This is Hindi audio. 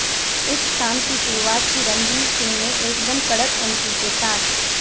इस शाम की शुरूआत की रणवीर सिंह ने एकदम कड़क एंट्री के साथ